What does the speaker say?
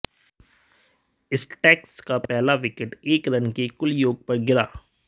stags का पहला wicket एक रन के कुल योग पर गिरा